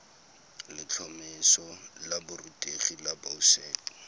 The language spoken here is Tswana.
letlhomeso la borutegi la boset